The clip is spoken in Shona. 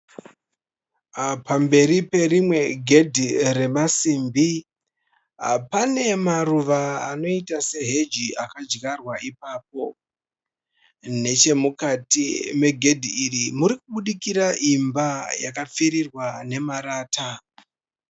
Pamberi perimwe gedhi remasimbi pane maruva anoita seheji akadyarwa ipapo. Neche mukati megedhi iri muri kubudikira imba yakapfirirwa nemarata.